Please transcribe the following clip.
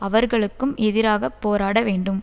அவர்களுக்கும் எதிராக போராட வேண்டும்